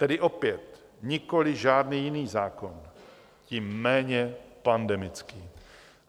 Tedy opět nikoli žádný jiný zákon, tím méně pandemický.